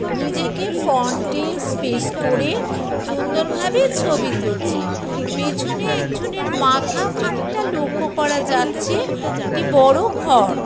নিজেকে ফ্রন্ট টেস স্পেশ করে সুন্দরভাবে ছবি তুলছে ।পেছনে একজনের মাথা খানিকটা লক্ষ্য করা যাচ্ছে একটি বড়ো ঘর।